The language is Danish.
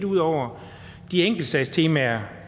ud over de enkeltsagstemaer